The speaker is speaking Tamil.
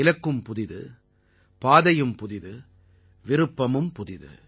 இலக்கும் புதியது பாதையும் புதியது விருப்பமும் புதியது